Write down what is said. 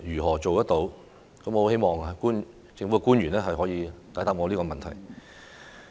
我十分希望政府官員能夠解答我這個問題。